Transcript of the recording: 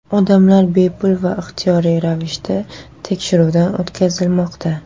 Odamlar bepul va ixtiyoriy ravishda tekshiruvdan o‘tkazilmoqda.